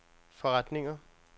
forretninger